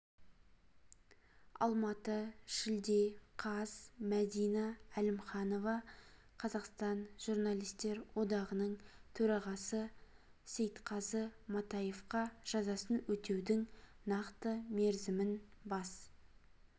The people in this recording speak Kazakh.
алматы шілде қаз мәдина әлімханова қазақстан журналистер одағының төрағасы сейтқазы матаевқа жазасын өтеудің нақты мерзімін бас